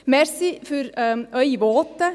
Danke für Ihre Voten.